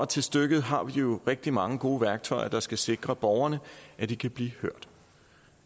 til stykket har vi jo rigtig mange gode værktøjer der skal sikre borgerne at de kan blive hørt